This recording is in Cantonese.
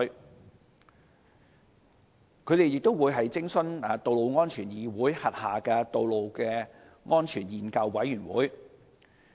運輸署及顧問亦會徵詢道路安全議會轄下的道路安全研究委員會的意見。